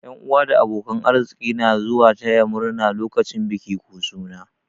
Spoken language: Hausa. Yan'uwa da abokan arziki na zuwa taya murna lokacin biki ko suna.